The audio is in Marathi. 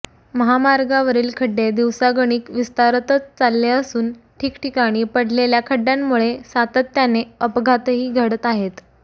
महामार्गावरील खड्डे दिवसागणिक विस्तारतच चालले असून ठिकठिकाणी पडलेल्या खड्डय़ांमुळे सातत्याने अपघातही घडत आहेत